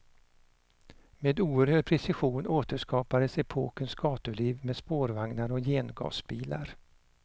Med oerhörd precision återskapades epokens gatuliv med spårvagnar och gengasbilar.